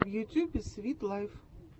в ютюбе свит лайф